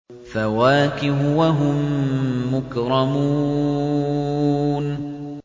فَوَاكِهُ ۖ وَهُم مُّكْرَمُونَ